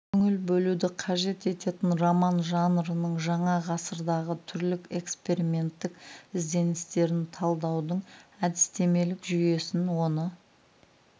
көңіл бөлуді қажет ететін роман жанрының жаңа ғасырдағы түрлік эксперименттік ізденістерін талдаудың әдістемелік жүйесін оны